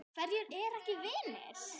Hverjir eru ekki vinir?